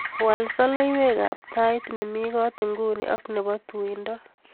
Wal soloiwetab tait nemi kot nguni ak nebo tuindo